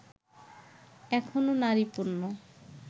এখনও নারী পণ্য